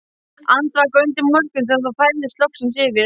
Andvaka undir morgun þegar ró færðist loksins yfir.